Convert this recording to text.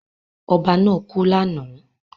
Ọba náà kú lánàá.